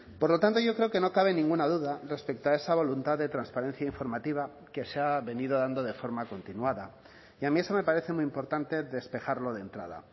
por lo tanto yo creo que no cabe ninguna duda respecto a esa voluntad de transparencia informativa que se ha venido dando de forma continuada y a mí eso me parece muy importante despejarlo de entrada